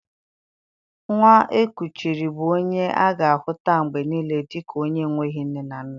Nwa e kuchiri bụ onye a ga-ahuta mgbe niile dika onye enweghị nne na nna